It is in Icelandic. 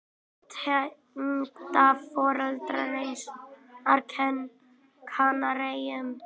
Tengdaforeldrar hans voru á Kanaríeyjum.